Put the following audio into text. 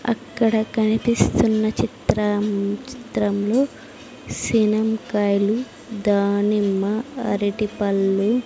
అక్కడ కనిపిస్తున్న చిత్రం చిత్రంలో సినంకాయలు దానిమ్మ అరిటిపల్లు.